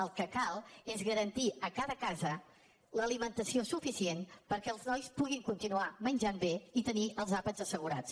el que cal és garantir a cada casa l’alimentació suficient perquè els nois puguin continuar menjant bé i tenir els àpats assegurats